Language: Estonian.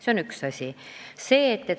See on üks asi.